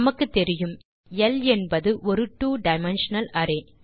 நமக்கு தெரியும் ல் என்பது ஒரு ட்வோ டைமென்ஷனல் அரே